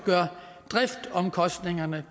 driftsomkostningerne